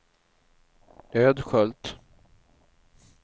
Ödskölt